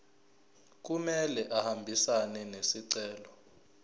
kumele ahambisane nesicelo